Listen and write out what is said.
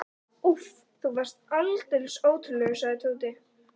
Úff, þú varst aldeilis ótrúlegur, sagði Tóti.